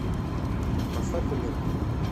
поставь энергия